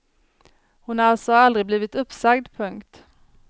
Hon har alltså aldrig blivit uppsagd. punkt